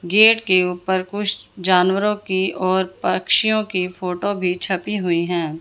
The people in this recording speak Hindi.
गेट के ऊपर कुछ जानवरों की और पक्षियों की फोटो भीं छपी हुई हैं।